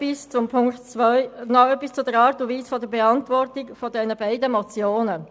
Noch etwas zur Art und Weise der Beantwortung der beiden Motionen.